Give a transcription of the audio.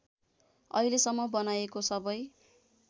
अहिलेसम्म बनाइएको सबै